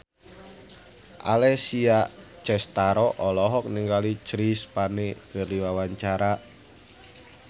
Alessia Cestaro olohok ningali Chris Pane keur diwawancara